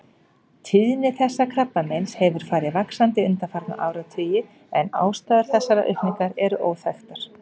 Tíðni þessa krabbameins hefur farið vaxandi undanfarna áratugi en ástæður þessarar aukningar eru óþekktar.